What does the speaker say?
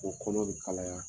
O kɔlɔ bi kalaya